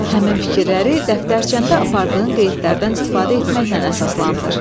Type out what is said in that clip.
Həmin fikirləri dəftərçəndə apardığın qeydlərdən istifadə etməklə əsaslandır.